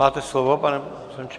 Máte slovo, pane poslanče.